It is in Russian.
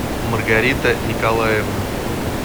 маргарита николаевна